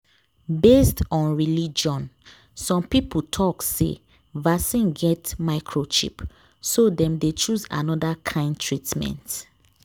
based on religion some people talk say vaccine get microchip so dem dey choose another kind treatment